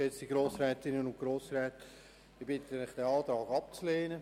Ich bitte Sie, diesen Antrag abzulehnen.